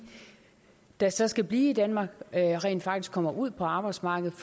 der så skal blive i danmark rent faktisk kommer ud på arbejdsmarkedet